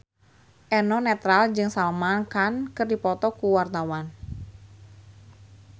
Eno Netral jeung Salman Khan keur dipoto ku wartawan